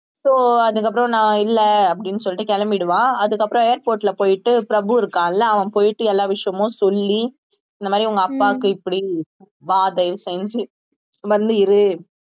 so அதுக்கப்புறம் நான் இல்லை அப்படின்னு சொல்லிட்டு கிளம்பிடுவான் அதுக்கப்புறம் airport ல போயிட்டு பிரபு இருக்கான்ல அவன் போயிட்டு எல்லா விஷயமும் சொல்லி இந்த மாதிரி உங்க அப்பாக்கு இப்படி வா தயவு செஞ்சு வந்து இரு